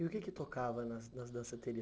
E o que é que tocava nas danceterias?